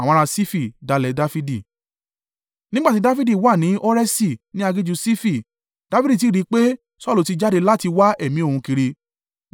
Nígbà tí Dafidi wà ní Horeṣi ní aginjù Sifi, Dafidi sì rí i pé, Saulu ti jáde láti wá ẹ̀mí òun kiri.